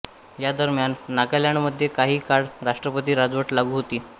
या दरम्यान नागालॅंडमध्ये काही काळ राष्ट्रपती राजवट लागू होती